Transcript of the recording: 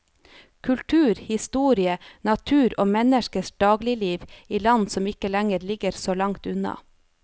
Kultur, historie, natur og menneskers dagligliv i land som ikke lenger ligger så langt unna.